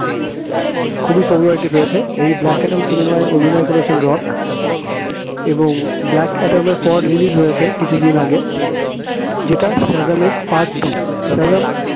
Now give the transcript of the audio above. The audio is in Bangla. খুবই popularity পেয়েছে, এই black অ্যাডাম cinema য় অভিনয় করেছেন রক এবং black অ্যাডাম এর পরও release হয়েছে কিছুদিন আগে যেটা সাজামের part two সেজাম